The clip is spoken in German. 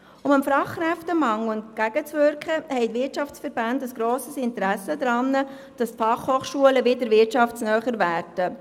Um dem Fachkräftemangel entgegenzuwirken, haben die Wirtschaftsverbände ein grosses Interesse daran, dass die FH wirtschaftsnäher werden.